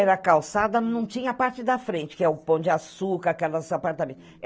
Era calçada, não tinha a parte da frente, que é o Pão de Açúcar, que era o nosso apartamento.